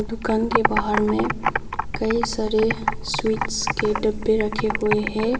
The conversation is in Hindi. दुकान के बाहर में कई सारे स्वीट्स के डब्बे रखे हुए हैं।